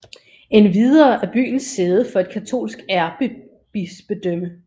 Endvidere er byen sæde for et katolsk ærkebispedømme